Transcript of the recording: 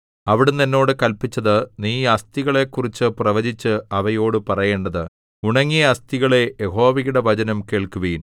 അവിടുന്ന് എന്നോട് കല്പിച്ചത് നീ ഈ അസ്ഥികളെക്കുറിച്ചു പ്രവചിച്ച് അവയോടു പറയേണ്ടത് ഉണങ്ങിയ അസ്ഥികളേ യഹോവയുടെ വചനം കേൾക്കുവിൻ